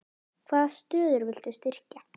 Hvaða stöður viltu styrkja?